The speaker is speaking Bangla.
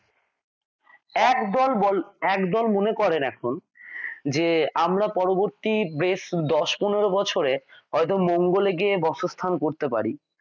একদল বলবে একদল মনে করেন এখন যে আমরা পরবর্তী বেশ দশ পনেরো বছরে হয়ত মঙ্গলে গিয়ে বাসস্থান করতে পারি।